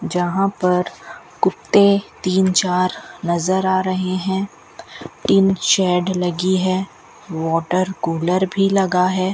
जहां पर कुत्ते तीन चार नज़र आ रहे हैं तीन चाड लगी है वॉटर कूलर भी लगा है।